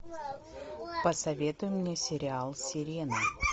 посоветуй мне сериал сирена